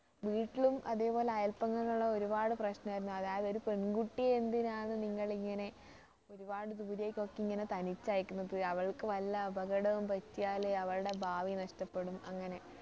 വീട്ടിലും അതേപോലെ അയല്പക്കങ്ങളിലും ഒരുപാട് പ്രശ്നമായിരുന്നു അതായത് ഒരു പെൺകുട്ടിയെ എന്തിനാണ് നിങ്ങളിങ്ങനെ ഒരുപാട് ദൂരെക്കൊക്കെ ഇങ്ങനെ തനിച്ചയയ്ക്കുന്നത് അവൾക്ക് വല്ല അപകടവും പറ്റിയാൽ അവളുടെ ഭാവി നഷ്ടപ്പെടും അങ്ങനെ